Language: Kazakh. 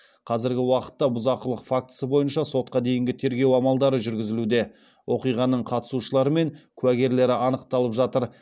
қазіргі уақытта бұзақылық фактісі бойынша сотқа дейінгі тергеу амалдары жүргізілуде оқиғаның қатысушылары мен куәгерлері анықталып жатыр